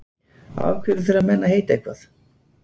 Af hverju þurfa menn að heita eitthvað?